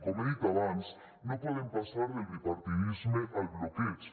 com he dit abans no podem passar del bipartidisme al bloqueig